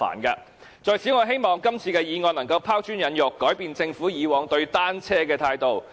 我在此希望今次的議案能夠拋磚引玉，改變政府以往對單車的態度。